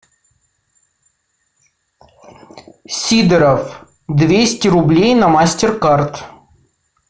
сидоров двести рублей на мастеркард